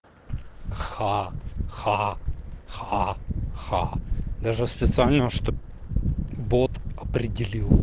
ха-ха-ха-ха даже специально чтобы бот определи